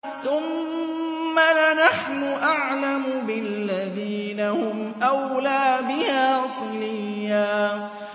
ثُمَّ لَنَحْنُ أَعْلَمُ بِالَّذِينَ هُمْ أَوْلَىٰ بِهَا صِلِيًّا